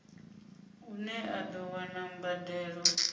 une a do wana mbadelo